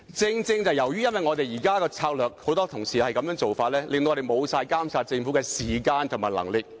然而，正正是由於現時很多同事採取"拉布"策略，令議會失去監察政府的時間和能力。